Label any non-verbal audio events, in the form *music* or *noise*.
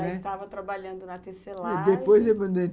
Já estava trabalhando na tecelagem... Depois *unintelligible*